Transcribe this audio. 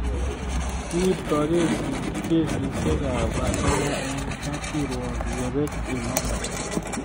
Kiwirtoi kesisyek ap asoya eng' kapkirwok yepet imanda